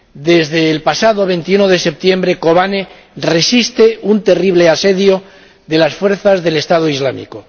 Desde el pasado 21 de septiembre, Kobane resiste un terrible asedio de las fuerzas del Estado Islámico.